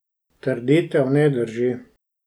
Trditev ne drži.